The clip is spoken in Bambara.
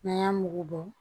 N'an y'a mugu bɔ